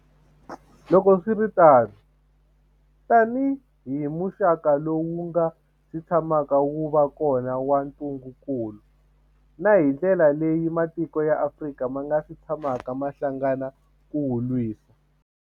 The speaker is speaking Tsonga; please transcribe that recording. Loko swi ri tano, tanihi muxaka lowu wu nga si tsha maka wu va kona wa ntu ngukulu, na hi ndlela leyi matiko ya Afrika ma nga si tshamaka ma hlangana ku wu lwisa.